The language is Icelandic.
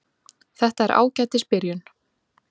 Þetta er ágætis byrjun.